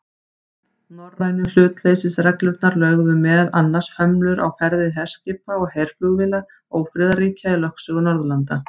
Norrænu hlutleysisreglurnar lögðu meðal annars hömlur á ferðir herskipa og herflugvéla ófriðarríkja í lögsögu Norðurlanda.